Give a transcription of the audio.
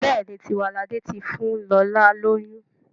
Béèni Tiwalade tí fún lọla lóyún..